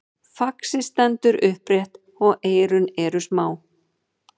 faxið stendur upprétt og eyrun eru smá